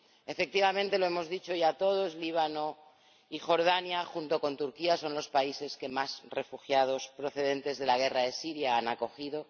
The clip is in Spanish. Efectivamente —lo hemos dicho ya todos—, Líbano y Jordania, junto con Turquía, son los países que más refugiados procedentes de la guerra de Siria han acogido.